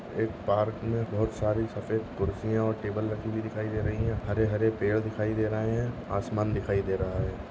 एक पार्क में बहुत सारी सफेद कुर्सिया और टेबल रखी हुई दिखाई दे रही है हरे हरे पेड़ दिखाई दे रहे है आसमान दिखाई दे रहा है।